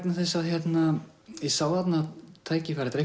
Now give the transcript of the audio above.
þess að ég sá þarna tækifæri þetta